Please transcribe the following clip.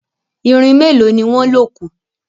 Irin meloni wón lọ kù.